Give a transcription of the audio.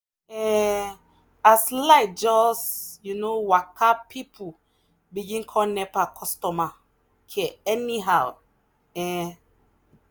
um as light just waka people begin call nepa customer care anyhow. um